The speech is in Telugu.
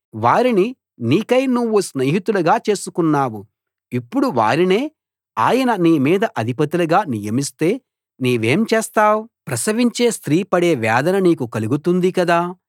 వారిని నీకై నువ్వు స్నేహితులుగా చేసికొన్నావు ఇప్పుడు వారినే ఆయన నీ మీద అధిపతులుగా నియమిస్తే నీవేం చేస్తావు ప్రసవించే స్త్రీ పడే వేదన నీకు కలుగుతుంది కదా